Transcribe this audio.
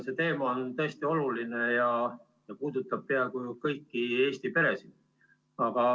See teema on tõesti oluline ja puudutab ju peaaegu kõiki Eesti peresid.